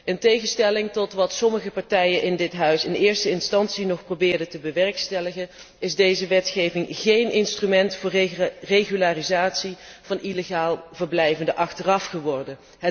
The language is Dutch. In tegenstelling tot wat sommige partijen in dit Parlement in eerste instantie nog probeerden te bewerkstelligen, is deze wetgeving geen instrument voor regularisatie van illegaal verblijvenden achteraf geworden.